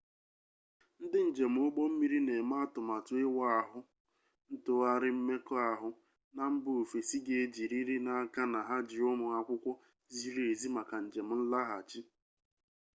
ndị njem ụgbọ mmiri na-eme atụmatụ ịwa ahụ ntụgharị mmekọahụ na mba ofesi ga-ejiriri n'aka na ha ji ụmụ akwụkwọ ziri ezi maka njem nlaghachi